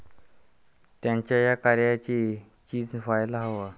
त्यांच्या या कार्याचे चीज व्हायला हवं.